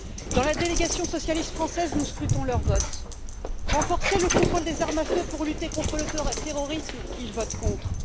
Dans la délégation socialiste française nous scrutons leur vote renforcer le contrôle des armes à feu pour lutter contre le terrorisme, ils votent contre